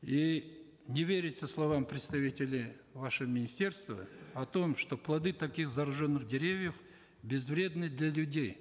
и не верится словам представителей вашего министерства о том что плоды таких зараженных деревьев безвредны для людей